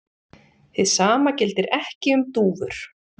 Hið sama gildir ekki um dúfur.